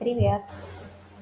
привет